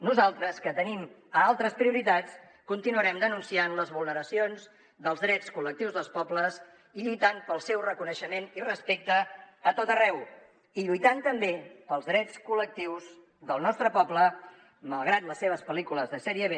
nosaltres que tenim altres prioritats continuarem denunciant les vulneracions dels drets col·lectius dels pobles i lluitant pel seu reconeixement i respecte a tot arreu i lluitant també pels drets col·lectius del nostre poble malgrat les seves pel·lícules de sèrie b